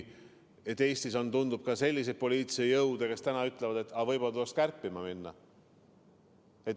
Eestis on, tundub, ka selliseid poliitilisi jõude, kes ütlevad, et võib-olla tuleks kärpida.